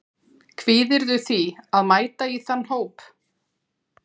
Kvíðirðu því að mæta í þann hóp?